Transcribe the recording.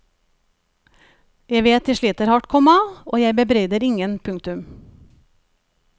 Jeg vet de sliter hardt, komma og jeg bebreider ingen. punktum